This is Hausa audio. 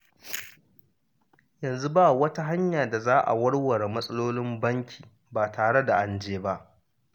Yanzu ba wata hanya da za a warware matsalolin banki ba tare da an je ba?